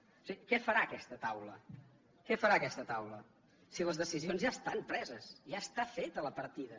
o sigui què farà aquesta taula què farà aquesta taula si les decisions ja estan preses ja està feta la partida